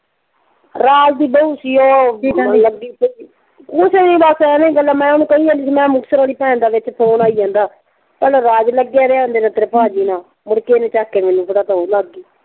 ਰਾਜ ਦੀ ਬਹੂ ਸੀ ਉਹ ਕੁੱਛ ਨਈਂ ਬਸ ਐਵੇਂ ਗੱਲਾਂ ਮੈਂ ਉਹਨੂੰ ਕਹੀ ਜਾਂਦੀ ਸੀ ਮੈਂ ਕਿਹਾ ਮੁਕਤਸਰ ਆਲੀ ਭੈਣ ਦਾ ਫੋਨ ਆਈ ਜਾਂਦਾ। ਪਹਿਲਾਂ ਰਾਜ ਲੱਗਿਆ ਰਿਹਾ ਵੇਖ ਲਾ ਤੇਰੇ ਭਾਜੀ ਨਾਲ। ਮੁੜ ਕੇ ਉਹਨੇ ਚੱਕ ਕੇ ਮੈਨੂੰ ਫੜਾ ਤਾ ਉਹ ਲੱਗ ਗਈ।